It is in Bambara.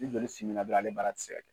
Ni joli simi na qɔrɔnw ale baara tɛ kɛ.